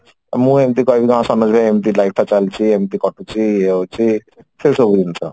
ମୁଁ ଏମତି କହିବି ହଁ ସରୋଜ ଭାଇ ଏମତି life ଟା ଏମତି ଚାଲିଛି ଏମତି କଟୁଛି ଇଏ ହଉଛି ସେଇ ସବୁ ଜିନିଷ